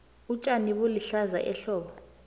utjani bulihlaza ehlobo